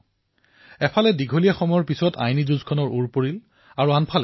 এফালে আইনৰ দীৰ্ঘদিনীয়া যুদ্ধ সমাপ্ত হল আৰু দ্বিতীয়তে ন্যায়পালিকাৰ প্ৰতি দেশৰ সন্মান অধিক বৃদ্ধি হল